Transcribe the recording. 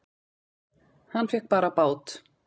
Hann fékk bara bát!